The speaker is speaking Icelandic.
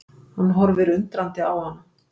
Hann horfir undrandi á hana.